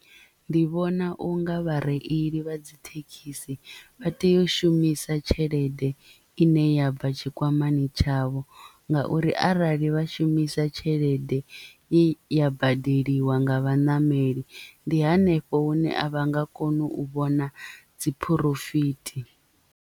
Ndi vhona unga vhareili vha dzi thekhisi vha tea u shumisa tshelede ine ya bva tshikwamani tshavho ngauri arali vha shumisa tshelede i ya badeliwa nga vhaṋameli ndi hanefho hune a vha nga koni u vhona dzi phurofithi.